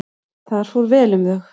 Þar fór vel um þau.